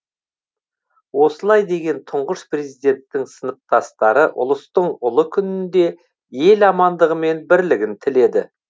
осылай деген тұңғыш президенттің сыныптастары ұлыстың ұлы күнінде ел амандығы мен бірлігін тіледі